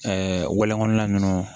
wɛlɛkɔnɔna ninnu